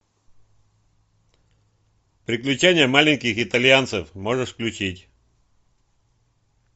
приключения маленьких итальянцев можешь включить